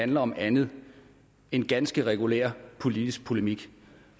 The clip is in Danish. handler om andet end ganske regulær politisk polemik